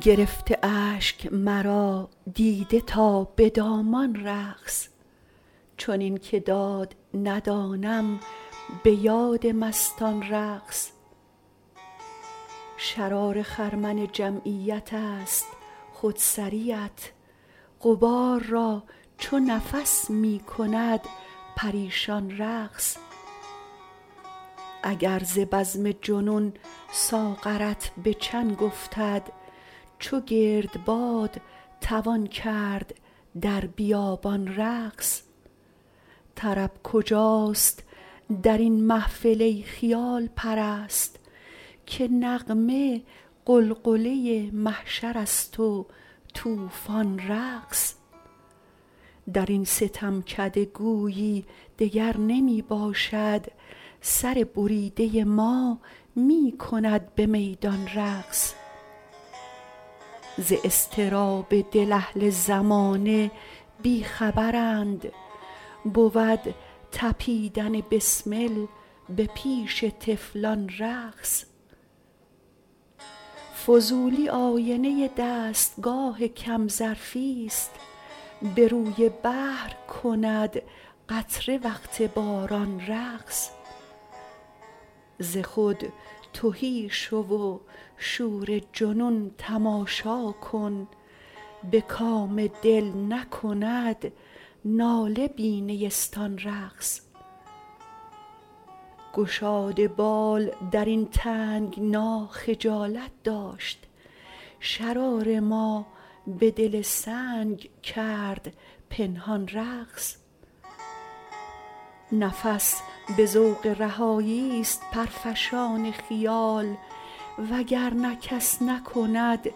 گرفته اشک مرا دیده تا به دامان رقص چنین که داد ندانم به یاد مستان رقص شرار خرمن جمعیت است خود سریت غبار را چو نفس می کند پریشان رقص اگر ز بزم جنون ساغرت به چنگ افتد چو گرد باد توان کرد در بیابان رقص طرب کجاست درین محفل ای خیال پرست که نغمه غلغله محشر است و توفان رقص درین ستمکده گویی دگر نمی باشد سر بریده ما می کند به میدان رقص ز اضطراب دل اهل زمانه بی خبرند بود تپیدن بسمل به پیش طفلان رقص فضولی آینه دستگاه کم ظرف است به روی بحر کند قطره وقت باران رقص ز خود تهی شو و شور جنون تماشا کن به کام دل نکند ناله بی نیستان رقص گشاد بال درین تنگنا خجالت داشت شرار ما به دل سنگ کرد پنهان رقص نفس به ذوق رهایی است پر فشان خیال و گر نه کس نکند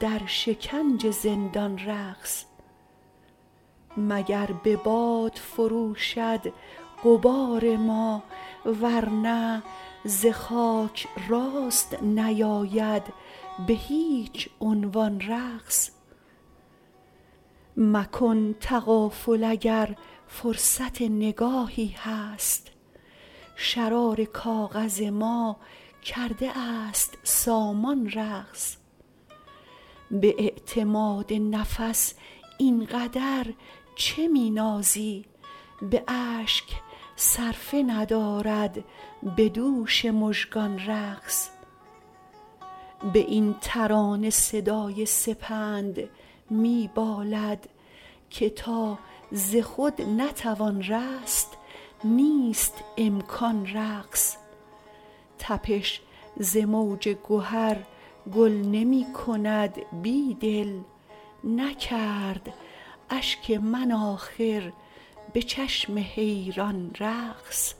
در شکنج زندان رقص مگر به باد فروشی غبار ما ورنه ز خاک راست نیاید به هیچ عنوان رقص مکن تغافل اگر فرصت نگاهی هست شرار کاغذ ما کرده است سامان رقص به اعتماد نفس اینقدر چه می نازی به اشک صرفه ندارد به دوش مژگان رقص به این ترانه صدای سپند می بالد که تا ز خود نتوان رست نیست امکان رقص تپش ز موج گهر گل نمی کند بیدل نکرد اشک من آخر به چشم حیران رقص